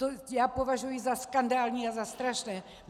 To já považuji za skandální a za strašné.